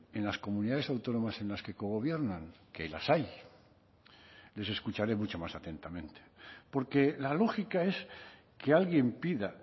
en las comunidades autónomas en las que cogobiernan que las hay les escucharé mucho más atentamente porque la lógica es que alguien pida